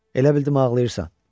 Elə bildim ağlayırsan.